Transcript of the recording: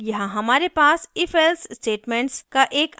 यहाँ हमारे पास ifelse statements का एक अन्य set है